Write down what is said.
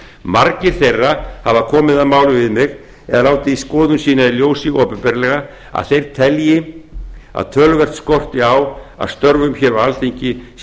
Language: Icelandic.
margir þeirra hafa komið að máli við mig eða látið þá skoðun sína í ljósi opinberlega að þeir telji að töluvert skorti á að störfum hér á alþingi sé